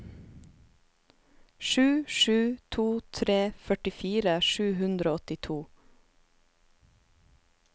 sju sju to tre førtifire sju hundre og åttito